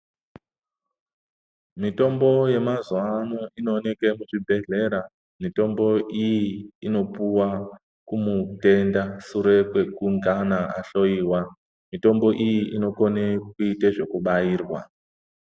Mitombo yemazuva ano inooneke muzvibhedhlera. Mitombo iyi inopuwa kumutenda sure kwekungana ahloyiwa. Mitombo iyi inokone kuite zvekubairwa.